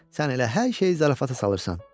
Sən elə hər şeyi zarafata salırsan.